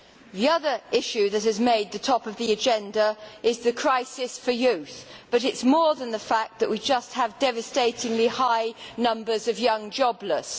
The other issue that has made the top of the agenda is the crisis for youth, but it is more than the fact that we just have devastatingly high numbers of young jobless.